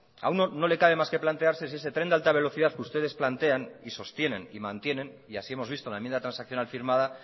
a uno no le cabe más que plantearse si ese tren de alta velocidad que ustedes plantean y sostienen y mantienen y así hemos visto en la enmienda transaccional firmada